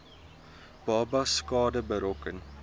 babas skade berokken